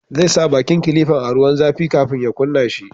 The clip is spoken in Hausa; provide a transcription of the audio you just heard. Zai sa bakin kilifan a ruwan zafi kafin ya kunna shi